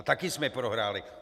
A taky jsme prohráli.